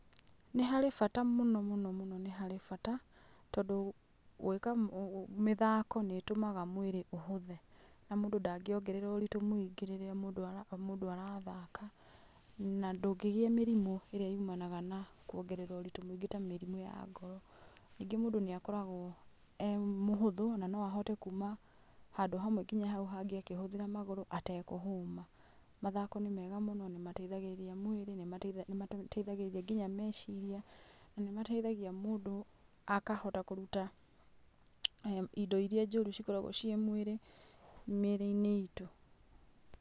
Nĩ harĩ bata mũno mũno mũno nĩ harĩ bata tondũ, gwĩka mũ mũ mĩthako nĩ ĩtũmaga mwĩrĩ ũhũthe na mũndũ ndangiongerera ũritu mũingĩ rĩrĩa mũndũ ara mũndũ arathaka, na ndũngĩgia mĩrimũ ĩrĩa yumanaga na kuongerera ũritũ mũingĩ ta mĩrimũ ya ngoro. Ningĩ mũndũ nĩakoragwo e mũhũthũ na no ahote kũũma handũ hamwe nginya haũ hangĩ akĩhũthĩra magũrũ atekũhũma. Mathako nĩ mega mũno nĩ mateithagĩrĩria mwĩrĩ inmate, nĩ mateithagĩrĩria nginya meciria na nĩ mateithagĩrĩria mũndũ akahota kũruta indo iria njũru cikoragwo ciri mwĩri mĩri-inĩ itũ.